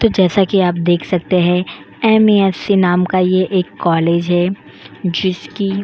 तो जैसा कि आप देख सकते हैं एम.एस.सी. नाम का ये एक कॉलेज है जिसकी --